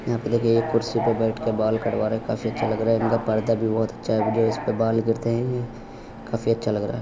यहा पे देखिऐ कुर्सी पे बैठ के बाल कटवा रहे है| ये काफी अच्छे लग रहा है| इनका पर्दा भी बहोत अच्छा है जो इस्पे बाल गिरते ये काफी अच्छा लग रहा--